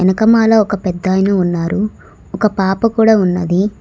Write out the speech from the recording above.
వెనుక మాల ఒక పెద్దాయన ఉన్నారు ఒక పాప కూడా ఉన్నది